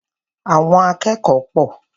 Àwọn akẹ́kọ̀ọ́ pọ̀.